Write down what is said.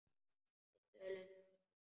Við töluðum dálítið saman.